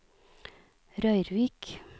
Røyrvik